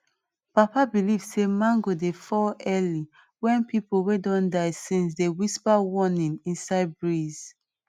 papa believe say mango dey fall early when people wey don die since dey whisper warning inside breeze